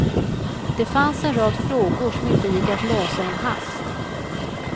Det fanns en rad frågor som inte gick att lösa i en hast.